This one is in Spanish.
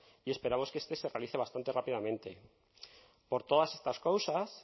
y esperamos que este se realice bastante rápidamente por todas estas causas